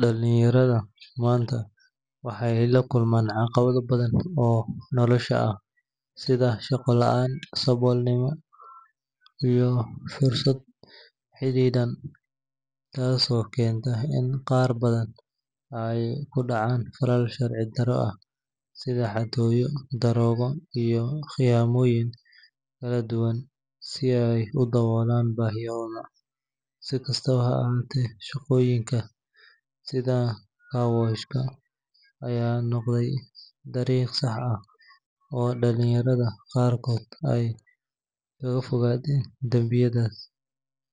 Dhalinyarada maanta waxay la kulmaan caqabado badan oo nolosha ah sida shaqo la’aan, saboolnimo iyo fursado xaddidan, taasoo keentay in qaar badan ay ku dhacaan falal sharci darro ah sida xatooyo, daroogo, iyo khiyaamooyin kala duwan si ay u daboolaan baahiyahooda. Si kastaba ha ahaatee, shaqooyinka sida carwash-ka ayaa noqday dariiq sax ah oo dhalinyarada qaarkood ay kaga fogaadeen dambiyadaas.